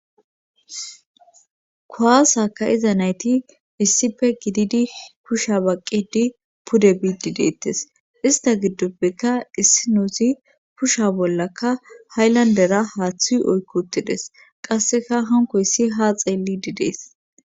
kuwaasaka ka'iza nayti issipe gididi kusha baqqedi pude biidi deettes ista giddoppeka issi nuusi kusha bollaka hayllandera haaththu oykkotides qasseka hankkoyssi ha xeelidi detes.